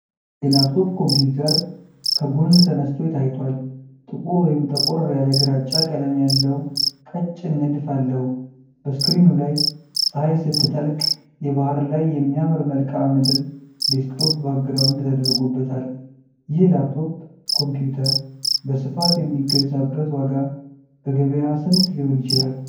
የላፕቶፕ ኮምፒዩተር ከጎን ተነስቶ ታይቷል። ጥቁር ወይም ጠቆር ያለ ግራጫ ቀለም ያለው ቀጭን ንድፍ አለው። በስክሪኑ ላይ ፀሐይ ስትጠልቅ የባሕር ላይ የሚያምር መልክዓ ምድር ዴስክቶፕ ባክግራውንድ ተደርጎበታል። ይህ ላፕቶፕ ኮምፒዩተር በስፋት የሚገዛበት ዋጋ በገበያ ስንት ሊሆን ይችላል?